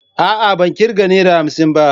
A'a ban kirga Naira hamsin ba.